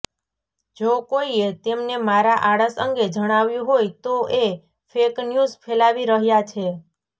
જો કોઈએ તેમને મારા આળસ અંગે જણાવ્યું હોય તો એ ફેક ન્યૂઝ ફેલાવી રહ્યા છે